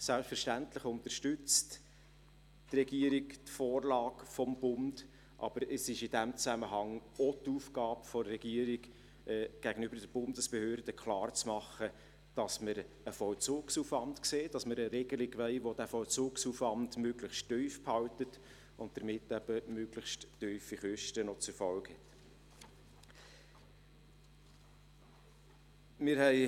Selbstverständlich unterstützt die Regierung die Vorlage des Bundes, aber es ist in diesem Zusammenhang auch die Aufgabe der Regierung, gegenüber den Bundesbehörden klarzumachen, dass wir einen Vollzugsaufwand sehen und dass wir eine Regelung wollen, die diesen Vollzugsaufwand möglichst tief hält und damit eben auch möglichst tiefe Kosten zur Folge hat.